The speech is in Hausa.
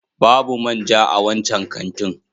Babu man ja a wancan kantin.